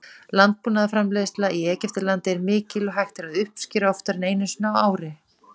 Landbúnaðarframleiðsla í Egyptalandi er mikil og hægt er að uppskera oftar en einu sinni ári.